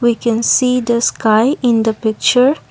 we can see the sky in the picture.